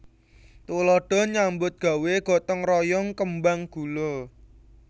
Tuladha nyambut gawé gotong royong kembang gula